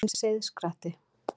Hvað er seiðskratti?